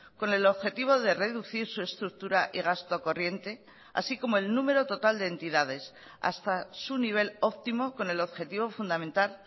con el objetivo de reducir su estructura y gasto corriente así como el número total de entidades hasta su nivel óptimo con el objetivo fundamental